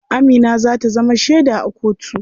Amina za ta zama sheda a kotu.